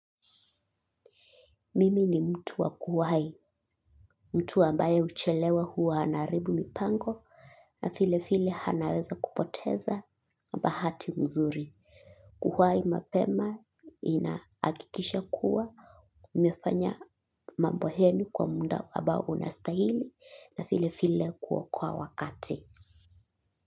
Mimi ni mtu wakuwai, mtu ambaye huchelewa huwa anaharibu mipango na vile vile anaweza kupoteza bahati mzuri. Kuhuai mapema inaakikisha kuwa umefanya mambo heni kwa muda ambao unastahili na vile vile kuokoa wakati.